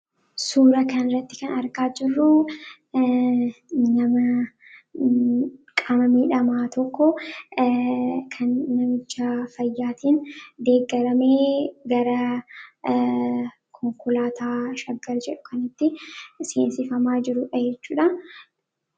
Suura kan irratti kan argaa jirruu nama qaama miidhamaa tokko kan namichaa fayyaatiin deeggaramee gara konkolaataa shaggar jedhu kanitti seensifamaa jiru jechuudha.